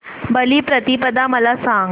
बलिप्रतिपदा मला सांग